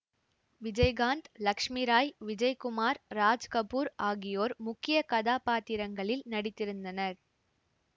விஜய்காந்த் லட்சுமி ராய் விஜயகுமார் ராஜ்கபூர் ஆகியோர் முக்கிய கதாப்பாத்திரத்திரங்களில் நடித்திருந்தனர்